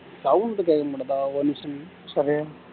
sound கேக்க மாட்டுதா ஒரு நிமிசம் இரு சரி